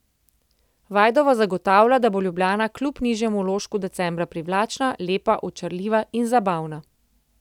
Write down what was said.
Vajdova zagotavlja, da bo Ljubljana kljub nižjemu vložku decembra privlačna, lepa, očarljiva in zabavna.